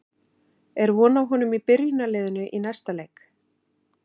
Er von á honum í byrjunarliðinu í næsta leik?